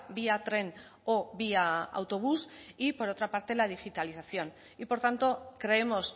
vía tren o vía autobús y por otra parte la digitalización y por tanto creemos